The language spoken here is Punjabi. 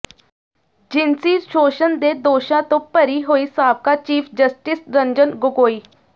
ਜਿਨਸੀ ਸ਼ੋਸ਼ਣ ਦੇ ਦੋਸ਼ਾਂ ਤੋਂ ਬਰੀ ਹੋਏ ਸਾਬਕਾ ਚੀਫ਼ ਜਸਟਿਸ ਰੰਜਨ ਗੋਗੋਈ